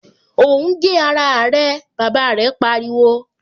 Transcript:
O ń gé ara rẹ! Bàbá rẹ̀ pariwo